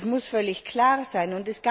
Das muss völlig klar sein.